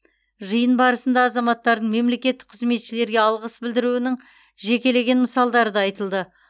жиын барысында азаматтардың мемлекеттік қызметшілерге алғыс білдіруінің жекелеген мысалдары да айтылды